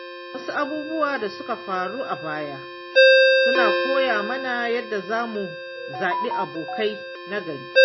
Wasu abubuwan da suka faru a baya suna koya mana yadda za mu zaɓi abokai na gari.